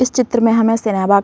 इस चित्र में हमें सेना बाग --